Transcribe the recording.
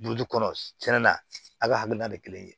kɔnɔ tiɲɛ na a ka hakilina tɛ kelen ye